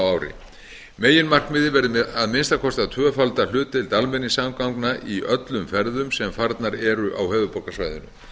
ári meginmarkmiðið verði að minnsta kosti að tvöfalda hlutdeild almenningssamgangna í öllum ferðum sem farnar eru á höfuðborgarsvæðinu